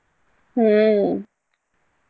ಹ್ಮ್.